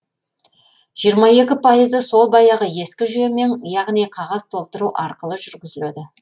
жиырма екі пайызы сол баяғы ескі жүйемен яғни қағаз толтыру арқылы жүргізіледі